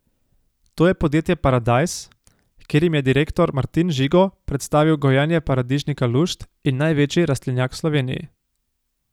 To je podjetje Paradajz, kjer jim je direktor Martin Žigo predstavil gojenje paradižnika Lušt in največji rastlinjak v Sloveniji.